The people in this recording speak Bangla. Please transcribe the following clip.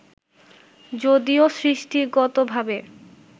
যদিও সৃষ্টিগতভাবে